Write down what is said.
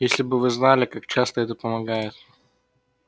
если бы вы знали как часто это помогает